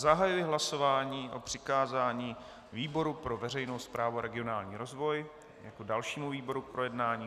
Zahajuji hlasování o přikázání výboru pro veřejnou správu a regionální rozvoj jako dalšímu výboru k projednání.